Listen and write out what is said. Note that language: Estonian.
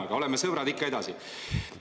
Aga oleme sõbrad ikka edasi!